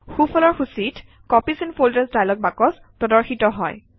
সোঁফালৰ সূচীত copies and folders dialog box প্ৰদৰ্শিত হয়